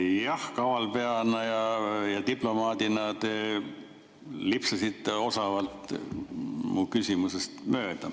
Jah, kavalpeana ja diplomaadina te lipsasite osavalt mu küsimusest mööda.